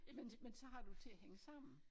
Jamen det men så har du til at hænge sammen